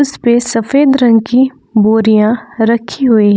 इसपे सफेद रंग की बोरियां रखी हुई है।